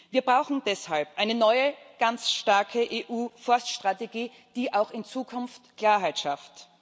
Wir brauchen deshalb eine neue, ganz starke EU Forststrategie, die auch in Zukunft Klarheit schafft.